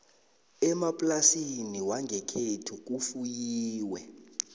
emaplasini wangekhethu kufuyiwe